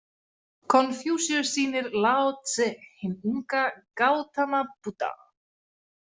Konfúsíus sýnir Lao Tse hinn unga Gautama Búdda.